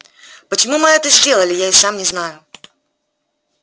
почему мы это сделали я и сам не знаю